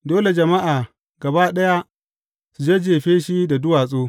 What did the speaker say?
Dole jama’a gaba ɗaya su jajjefe shi da duwatsu.